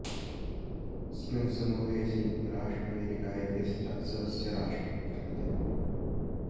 अस्मिन् समूहे संयुक्त राज्य अमेरिका इति सदस्यराष्ट्रं वर्तते